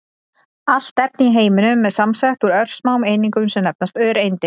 Allt efni í heiminum er samsett úr örsmáum einingum sem nefnast öreindir.